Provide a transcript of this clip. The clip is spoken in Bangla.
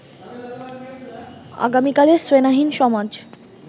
আগামীকালের শ্রেণীহীন সমাজ